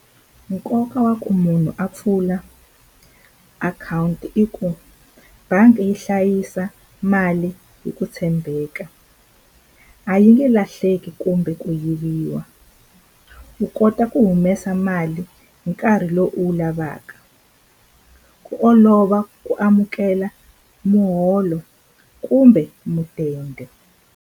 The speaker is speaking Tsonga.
Nkoka wa ku munhu a pfula akhawunti i ku bangi yi hlayisa mali hi ku tshembeka a yi nge lahleki kumbe ku yiviwa u kota ku humesa mali hi nkarhi lowu u wu lavaka ku olova ku amukela muholo kumbe mudende.